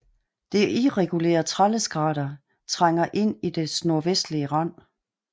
Det irregulære Tralleskrater trænger ind i dets nordvestlige rand